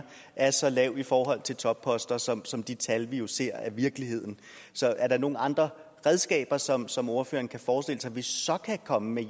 er så lav i forhold til topposter som som de tal vi jo ser viser så er der nogle andre redskaber som som ordføreren kan forestille sig vi så kan komme med